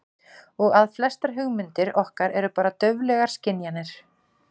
Og að flestar hugmyndir okkar eru bara dauflegar skynjanir.